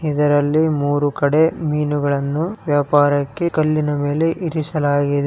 ಇದರಲ್ಲಿ ಮೂರೂ ಕಡೆ ಮಿನುಗಳನು ವ್ಯಾಪ್ಯಾರಾಕ್ಕೆ ಕಲ್ಲಿನ ಮೇಲೆ ಇರಿಸಲಾಗಿದೆ.